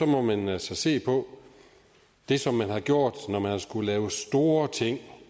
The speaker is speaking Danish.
må man altså se på det som man har gjort når man har skullet lave store ting